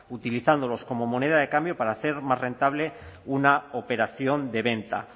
utilizándolos como moneda de cambio para hacer más rentable una operación de venta